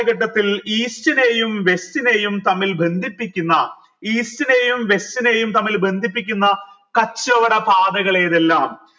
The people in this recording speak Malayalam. east നേയും west നെയും തമ്മിൽ ബന്ധിപ്പിക്കുന് east നേയും west നെയും തമ്മിൽ ബന്ധിപ്പിക്കുന്ന കച്ചവട പാതകൾ ഏതെല്ലാം